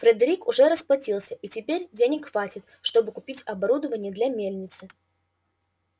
фредерик уже расплатился и теперь денег хватит чтобы купить оборудование для мельницы